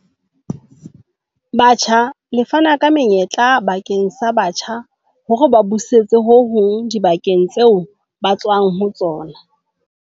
Batjha le fana ka menyetla bakeng sa batjha hore ba busetse ho hong dibakeng tseo ba tswang ho tsona.